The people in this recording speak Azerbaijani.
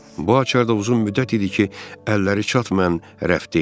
Bu açar da uzun müddət idi ki, əlləri çatmayan rəfdə idi.